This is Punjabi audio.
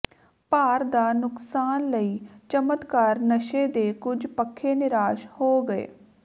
ਭਾਰ ਦਾ ਨੁਕਸਾਨ ਲਈ ਚਮਤਕਾਰ ਨਸ਼ੇ ਦੇ ਕੁਝ ਪੱਖੇ ਨਿਰਾਸ਼ ਹੋ ਗਏ